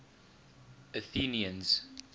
athenians